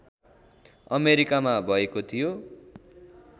अमेरिकामा भएको थियो